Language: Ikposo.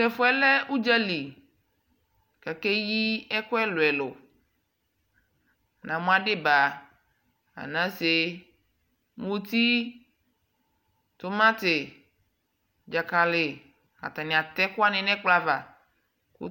Tɛfuɛlɛ uɖʒalɛli kakeyi ɛku ɛluɛlu namu adiba anasee mutii tumatii ɖʒakali Atanii atɛkuwani nɛkplɔava